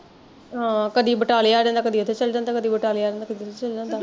ਆਹੋ ਕਦੀ ਬਟਾਲੇ ਆ ਜਾਂਦਾ ਕਦੇ ਉੱਥੇ ਚੱਲ ਜਾਂਦਾ ਕਦੀ ਬਟਾਲੇ ਆ ਜਾਂਦਾ ਕਦੇ ਉੱਥੇ ਚੱਲ ਜਾਂਦਾ